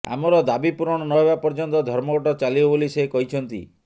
ଆମର ଦାବି ପୂରଣ ନହେବା ପର୍ଯ୍ୟନ୍ତ ଧର୍ମଘଟ ଚାଲିବ ବୋଲି ସେ କହିଛନ୍ତି